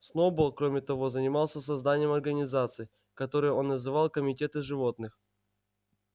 сноуболл кроме того занимался созданием организаций которые он называл комитеты животных